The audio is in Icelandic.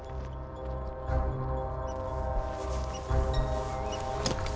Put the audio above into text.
á